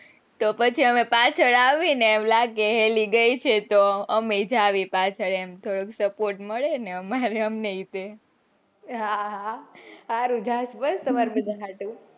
તો પછી હવે પાછળ આવીને એમ લાગે કે ઈલી ગયી છે તો અમે એ જાવીયે પાછળ અમને એ support મળેને એ રીતે આહ હારું જઈશ તમાર બધા ન હતું.